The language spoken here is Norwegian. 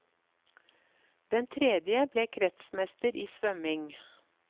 Den tredje ble kretsmester i svømming.